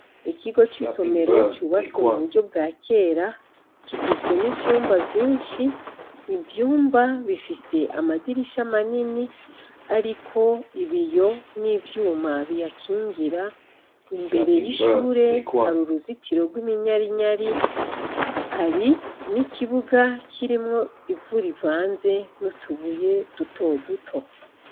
Ikigo cisomero cubatswe mu buryo bwakera, kigizwe nivyumba vyinshi , ivyumba bifise amadirisha manini ariko ibiyo nivyuma biyakingira, mbere y'ishure hari uruzitiro rwiminyarinyari, hari nikibuga kirimwo ivu rivanze nutubuye duto duto.